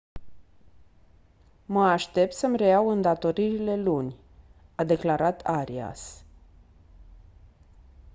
mă aștept să-mi reiau îndatoririle luni» a declarat arias.